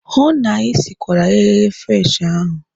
Hụụ na Ị sikwara eghereghe French ahụ!